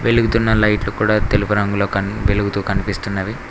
వెలుగుతున్న లైట్లు కూడా తెలుపు రంగులో కన్ వెలుగుతూ కనిపిస్తున్నవి.